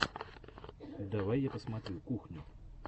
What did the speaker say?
давай я посмотрю кухню